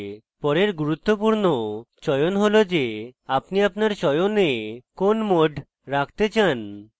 পরের গুরুত্বপূর্ণ চয়ন হল the আপনি আপনার চয়নে কোন mode রাখতে চান